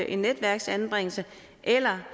en netværksanbringelse eller